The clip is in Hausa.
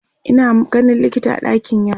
Ina ganin likita a ɗakin yara